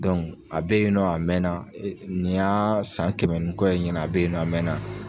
a be yen nɔ a mɛna nin y'aa san kɛmɛ ni kɔ ye ɲina a be yen nɔ a mɛna.